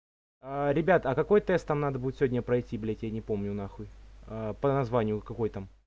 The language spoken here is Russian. ребят а какой тест там надо будет сегодня пройти блядь я не помню на хуй по названию какой там